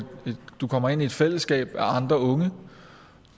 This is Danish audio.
du kommer ind i et fællesskab med andre unge